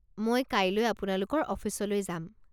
মই কাইলৈ আপোনালোকৰ অফিচলৈ যাম।